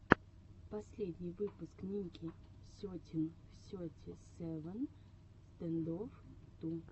последний выпуск ники сетин сети севен стэндофф ту